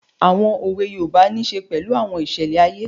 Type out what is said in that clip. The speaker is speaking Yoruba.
Àwọn òwe yoòbá nisè pẹ̀lú àwọn ìṣẹlẹ̀ ayé